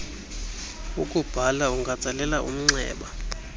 ukubhala ungatsalela umnxeba